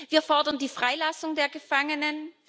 Wir fordern die Freilassung der Gefangenen.